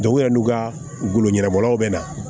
u yɛrɛ n'u ka golo ɲɛnɛbɔlaw bɛ na